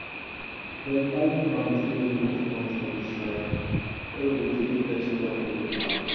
dem tie palm tree leaf for front of the shrine where we go keep first crop wey we pack.